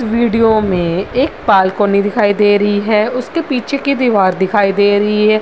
Video में एक balcony दिखाई दे रही हैं उसके पीछे की दीवार दिखाई दे रही है ।